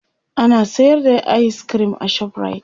ana sayar da ayis kirim a shoprite